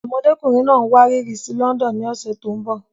Ọmọkùnrin náà ń wárìrì sí London ní ọ̀sẹ̀ tó ń bọ̀.